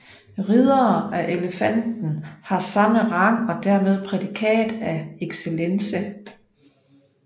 Riddere af Elefanten har samme rang og dermed prædikat af Excellence